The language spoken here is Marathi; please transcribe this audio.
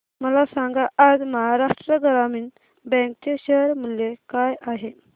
मला सांगा आज महाराष्ट्र ग्रामीण बँक चे शेअर मूल्य काय आहे